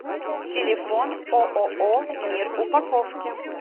телефон ооо мир упаковки